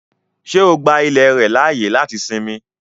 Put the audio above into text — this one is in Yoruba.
Ṣé o gbà ilẹ̀ rẹ laáyè láti sínmì?